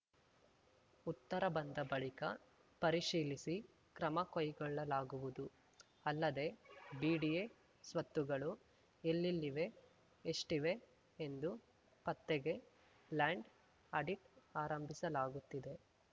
ಉತ್ತರ ಬಂದ ಬಳಿಕ ಪರಿಶೀಲಿಸಿ ಕ್ರಮ ಕೈಗೊಳ್ಳಲಾಗುವುದು ಅಲ್ಲದೆ ಬಿಡಿಎ ಸ್ವತ್ತುಗಳು ಎಲ್ಲೆಲ್ಲಿವೆ ಎಷ್ಟಿವೆ ಎಂದು ಪತ್ತೆಗೆ ಲ್ಯಾಂಡ್‌ ಆಡಿಟ್‌ ಆರಂಭಿಸಲಾಗುತ್ತಿದೆ